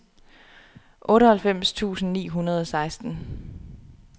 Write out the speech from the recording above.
otteoghalvfems tusind ni hundrede og seksten